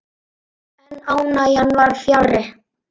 En ánægjan var fjarri.